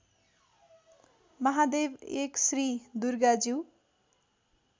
Mahadev १ Shri दुर्गाज्यू